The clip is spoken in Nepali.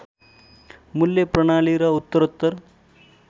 मूल्य प्रणाली र उत्तरोत्तर